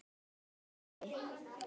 Góði afi.